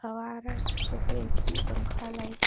हवा आ रहा है। कैसे ए.सी. पंखा लाइट --